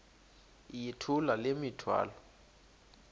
yithula le mithwalo